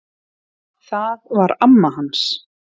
Það var amma hans